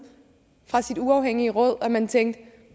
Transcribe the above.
fra sit uafhængige råd at man tænkte nu